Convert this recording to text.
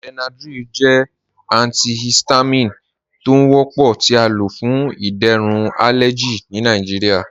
Benadryl jẹ antihistamine tó ń wọ́pọ̀ tí à ló fún ìdérún alẹjì ní Nàìjíríà.